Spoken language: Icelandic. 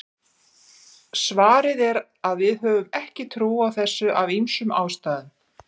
svarið er að við höfum ekki trú á þessu af ýmsum ástæðum